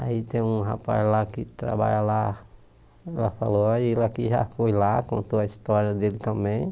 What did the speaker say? Aí tem um rapaz lá que trabalha lá, ela falou, ah ele aqui já foi lá, contou a história dele também.